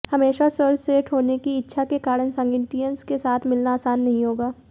हमेशा सर्वश्रेष्ठ होने की इच्छा के कारण सागिटियंस के साथ मिलना आसान नहीं होगा